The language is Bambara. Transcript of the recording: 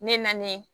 Ne nanen